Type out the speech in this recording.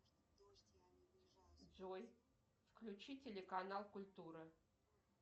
джой включи телеканал культура